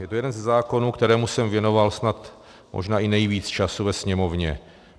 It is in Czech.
Je to jeden ze zákonů, kterému jsem věnoval snad možná i nejvíc času ve Sněmovně.